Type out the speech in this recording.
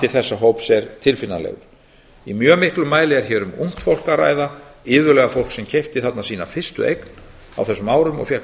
þessa hóps er tilfinnanlegur í mjög miklum mæli er hér um ungt fólk að ræða iðulega fólk sem keypti þarna sína fyrstu eign á þessum árum og fékk